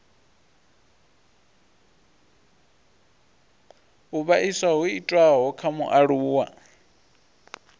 u vhaisa ho itiwaho kha mualuwa